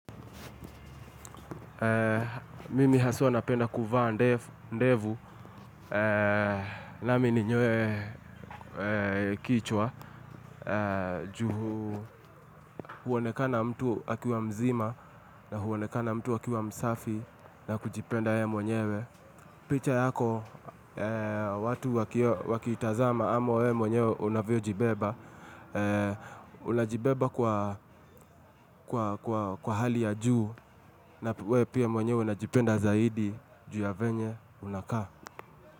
Mimi haswa napenda kuvaa ndevu nami ninyoe kichwa ju huonekana mtu akiwa mzima na huonekana mtu akiwa msafi na kujipenda yeye mwenyewe picha yako, watu wakitazama ama wewe mwenyewe unavyo jibeba Unajibeba kwa kwa kwa hali ya juu na wewe pia mwenye unajipenda zaidi juu ya venye unakaa.